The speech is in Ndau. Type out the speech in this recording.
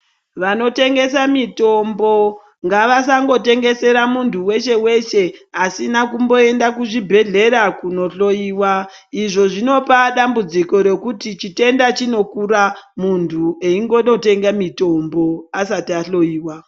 Vanotengesa mitombo ngavasangotengesera muntu weshe weshe asina kumboenda kuzvibhedhleya kunohloyiwa, izvo zvinopa dambudziko rekuti chitenda chinongotokura muntu eingonotenga mitombo asati ahloyiwa.